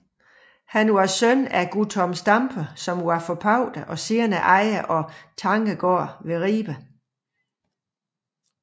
Han var søn af Guttorm Stampe som var forpagter og senere ejer af Tangegård ved Ribe